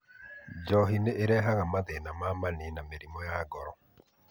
Njohi nĩ ĩrehaga mathĩna ma mani na mĩrimũ ya ngoro.